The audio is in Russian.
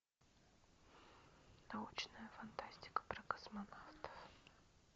научная фантастика про космонавтов